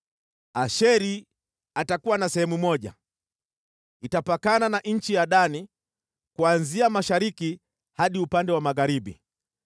“Asheri atakuwa na sehemu moja, itapakana na nchi ya Dani kuanzia mashariki hadi upande wa magharibi.